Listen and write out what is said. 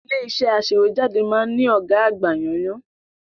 Ilé-iṣẹ́ aṣèwéjádé máa ń ní ọ̀gá àgbà yánńyán.